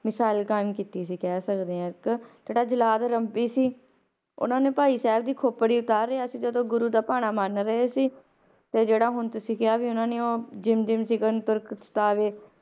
ਮਿਸਾਲ ਕਾਇਮ ਕੀਤੀ ਸੀ ਕਹਿ ਸਕਦੇ ਹਾਂ ਇੱਕ ਜਿਹੜਾ ਜਲਾਦ ਸੀ, ਉਹਨਾਂ ਨੇ ਭਾਈ ਸਾਹਿਬ ਦੀ ਖੋਪੜੀ ਉਤਾਰ ਰਿਹਾ ਸੀ ਜਦੋਂ ਗੁਰੂ ਦਾ ਭਾਣਾ ਮੰਨ ਰਹੇ ਸੀ, ਤੇ ਜਿਹੜਾ ਹੁਣ ਤੁਸੀਂ ਕਿਹਾ ਵੀ ਉਹਨਾਂ ਨੇ ਉਹ ਜਿਮ ਜਿਮ ਸਿੰਘਨ ਤੁਰਕ ਸਤਾਵੈ,